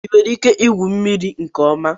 Ị nwere ike igwu mmiri nke ọma?